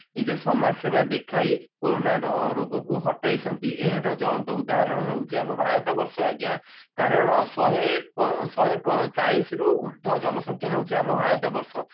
ନିଜ ସମାଜ ସେବା ଦେଖାଇ କୋରୋନା ରୋଗୋକୁ ହତାଇଛନ୍ତି ଏହାର ଚଳନ୍ତ ଉଦାହରଣ ହଉଛି ଆମ ଭାରତବର୍ଷ ଆଜ୍ଞା କାରଣ ଶହେ ଶହେ ଚାଳିଶି ରୁ ଉର୍ଦ୍ଧ ଜନସଂଖ୍ୟା ହଉଛି ଆମ ଭାରତବର୍ଷ